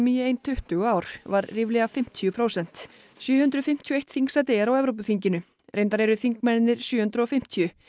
í ein tuttugu ár var ríflega fimmtíu prósent sjö hundruð fimmtíu og eitt þingsæti er á Evrópuþinginu reyndar eru þingmennirnir sjö hundruð og fimmtíu